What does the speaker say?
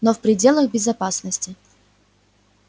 но в пределах безопасности